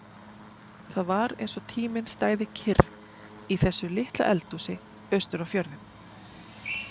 Það var eins og tíminn stæði kyrr í þessu litla eldhúsi austur á fjörðum.